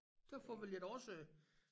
Derfor ville jeg da også øh